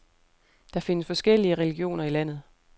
Der findes forskellige religioner i landet.